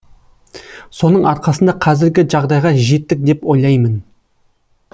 соның арқасында қазіргі жағдайға жеттік деп ойлаймын